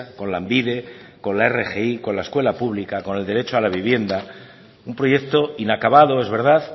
con lanbide con la rgi con la escuela pública con el derecho a la vivienda un proyecto inacabado es verdad